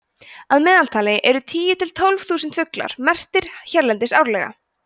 að meðaltali eru tíu til tólf þúsund fuglar merktir hérlendis árlega